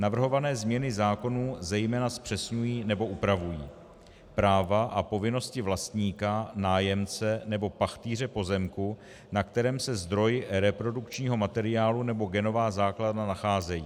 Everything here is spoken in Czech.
Navrhované změny zákonů zejména zpřesňují nebo upravují práva a povinnosti vlastníka, nájemce nebo pachtýře pozemku, na kterém se zdroj reprodukčního materiálu nebo genová základna nacházejí.